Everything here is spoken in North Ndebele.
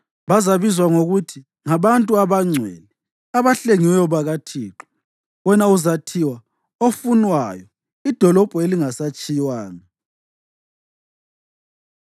Bazabizwa ngokuthi ngaBantu abaNgcwele, abaHlengiweyo bakaThixo; wena uzathiwa Ofunwayo, iDolobho Elingasatshiywanga.